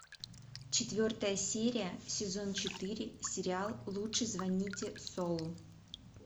четвертая серия сезон четыре сериал лучше звоните солу